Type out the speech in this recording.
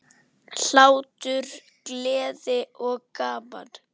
Hlátur, gleði og gaman.